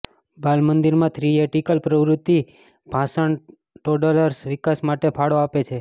બાલમંદિરમાં theatrical પ્રવૃત્તિ ભાષણ toddlers વિકાસ માટે ફાળો આપે છે